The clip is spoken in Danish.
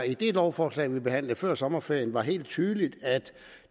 i det lovforslag vi behandlede før sommerferien var helt tydeligt